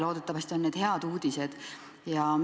Loodetavasti on need head uudised.